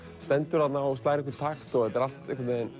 stendur þarna og slær einhvern takt þetta er allt einhvern veginn